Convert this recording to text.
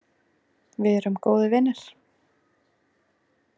Við erum góðir vinir.